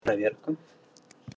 проверка